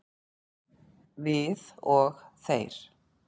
Við og þeir